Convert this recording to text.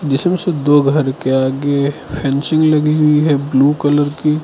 जिसमें से दो घर के आगे फेंसिंग लगी हुई है ब्लू कलर की।